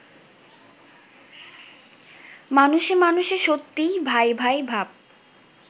মানুষে মানুষে সত্যিই ভাই-ভাই ভাব